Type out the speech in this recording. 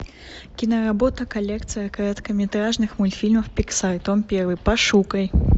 киноработа коллекция короткометражных мультфильмов пиксар том первый пошукай